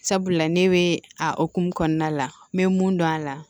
Sabula ne bɛ a hokumu kɔnɔna la n bɛ mun dɔn a la